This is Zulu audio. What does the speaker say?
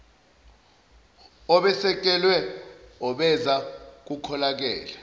obesekelwe obeza kukholakale